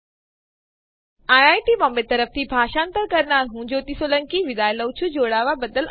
IIT Mumbai તરફથી આ tutorial ભાષાંતર કરનાર છે ભરત સોલંકી અને રેકોર્ડ કરનાર હું છું શિવાની ગડા